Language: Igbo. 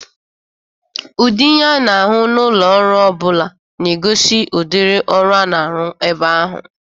Ụdị ihe a na-ahụ n'ụlọ ọrụ ọ bụla na-egozi udịrị ọrụ a na-arụ ebe ahụ.